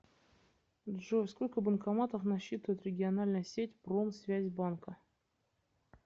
джой сколько банкоматов насчитывает региональная сеть промсвязьбанка